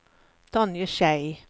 Tonje Schei